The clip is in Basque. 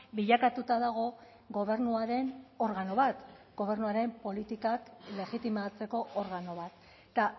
bilakatuta dago gobernuaren organo bat gobernuaren politikak legitimatzeko organo bat eta